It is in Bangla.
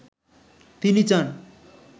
তিনি চান